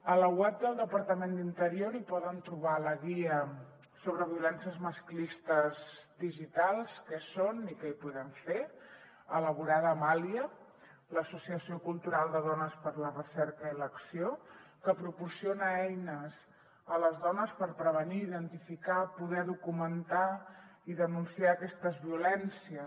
a la web del departament d’interior hi poden trobar la guia violències masclistes digitals quines són i què hi podem fer elaborada amb alia l’associació cultural de dones per a la recerca i l’acció que proporciona eines a les dones per prevenir identificar poder documentar i denunciar aquestes violències